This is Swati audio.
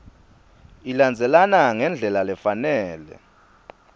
ilandzelana ngendlela lefanele